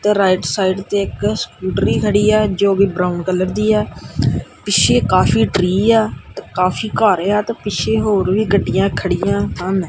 ਤੇ right side ਤੇ ਇੱਕ ਸਕੂਟਰੀ ਖੜੀ ਆ ਜੋ ਕਿ ਬਰਾਉਨ ਕਲਰ ਦੀ ਆ ਪਿੱਛੇ ਕਾਫੀ ਟਰੀ ਆ ਤੇ ਕਾਫੀ ਘਰ ਆ ਤੇ ਪਿੱਛੇ ਹੋਰ ਵੀ ਗੱਡੀਆਂ ਖੜੀਆਂ ਹਨ।